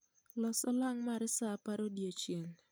Los olang mar saa apar odiechieng'